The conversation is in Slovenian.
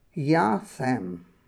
Ja, sem.